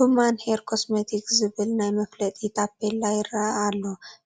ሁማን ሄይር ኮስሞቲክስ ዝብል ናይ መፋለጢ ታፔላ ይርአ ኣሎ፡፡